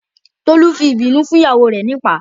Tolu fi ìbínú fún ìyàwó rẹ̀ nípàá